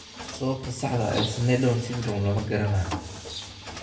Sababta saxda ah ee Sneddon syndrome lama garanayo.